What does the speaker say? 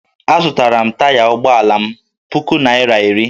Azụtara m taya ụgbọala m puku naira iri